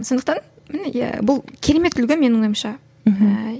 сондықтан иә бұл керемет үлгі менің ойымша мхм